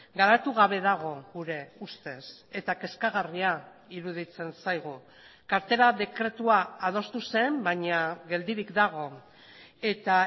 garatu gabe dago gure ustez eta kezkagarria iruditzen zaigu kartera dekretua adostu zen baina geldirik dago eta